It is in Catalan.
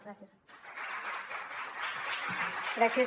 gràcies